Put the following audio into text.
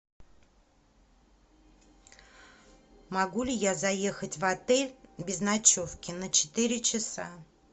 могу ли я заехать в отель без ночевки на четыре часа